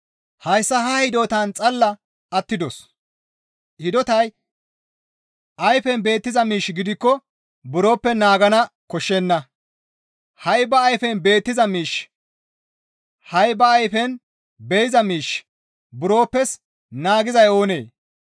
Hayssa ha hidotan xalla attidos; hidotay ayfen beettiza miish gidikko buroppe naagana koshshenna; ha7i ba ayfen be7iza miishshi buroppes naagizay oonee?